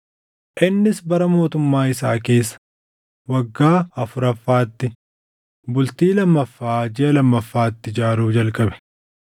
Innis bara mootummaa isaa keessa waggaa afuraffaatti, bultii lammaffaa jiʼa lammaffaatti ijaaruu jalqabe.